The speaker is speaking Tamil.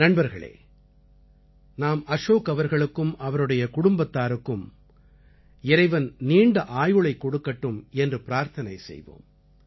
நண்பர்களே நாம அஷோக் அவர்களுக்கும் அவருடைய குடும்பத்தாருக்கும் இறைவன் நீண்ட ஆயுளைக் கொடுக்கட்டும் என்று பிரார்த்தனை செய்வோம்